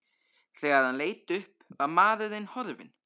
Þegar hann leit upp var maðurinn horfinn.